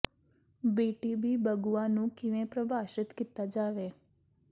B T B ਬਗੁਆ ਨੂੰ ਕਿਵੇਂ ਪਰਿਭਾਸ਼ਿਤ ਕੀਤਾ ਜਾਵੇ